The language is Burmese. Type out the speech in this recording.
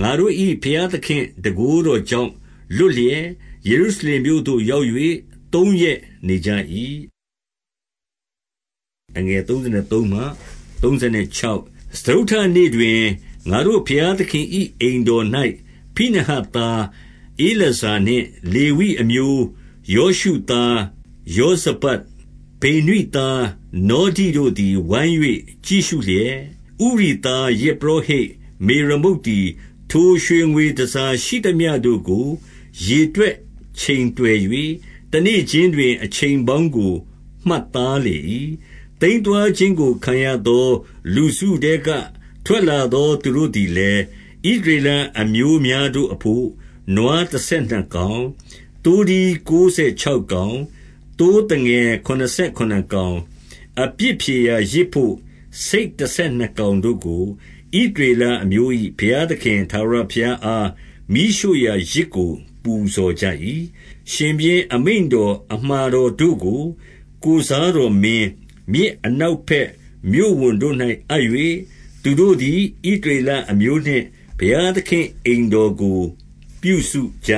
ငါတို့၏ ဘုရားသခင့် တန်ခိုးတော်ကြောင့် လွတ်လျက်၊ 32 ယေရုရှလင်မြို့သို့ ရောက်၍ သုံးရက်နေကြ၏။ 33 စတုတ္ထနေ့တွင် ငါတို့ ဘုရားသခင်၏ အိမ်တော်၌၊ ဖိနဟတ်သားဧလာဇာနှင့် လေဝိအမျိုးယောရှုသား ယောဇ ဗဒ်၊ ဗိနွိသားနောဒိတို့သည် ဝိုင်း၍ကြည့်ရှုလျက်၊ 34 ဥရိသား ယဇ်ပုရောဟိတ် မေရမုတ်သည် ထိုရွှေငွေတန်ဆာရှိသမျှတို့ကို ရေတွက်ချိန်တွယ်၍ တနေ့ခြင်း တွင် အချိန်ပေါင်းကို မှတ်သားလေ၏။ 35 သိမ်းသွားခြင်းကိုခံရသော လူစုထဲက ထွက်လာ သော သူတို့သည်လည်း၊ ဣသရေလအမျိုးများတို့အဘို့ နွားတဆယ်နှစ်ကောင်၊ သိုးထီးကိုးဆယ်ခြောက်ကောင်၊ သိုးသငယ်ခုနစ်ဆယ်ခုနစ်ကောင်၊ အပြစ်ဖြေရာယဇ်ဘို့ ဆိတ် တဆယ်နှစ်ကောင်တို့ကို၊ ဣသရေလအမျိုး၏ ဘုရား သခင်ထာဝရဘုရားအား မီးရှို့ရာယဇ်ကို ပူဇော်ကြ၏။ 36 ရှင်ဘုရင် အမိန့်တော်အမှာတော်တို့ကို ကိုယ်စား တော်မင်း၊ မြစ်အနောက်ဘက် မြို့ဝန်တို့၌အပ်၍၊ သူတို့ သည် ဣသရေလအမျိုးနှင့် ဘုရားသခင့် အိမ်တော်ကို ပြုစုကြ